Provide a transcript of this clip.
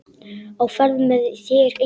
Á ferð með þér enginn.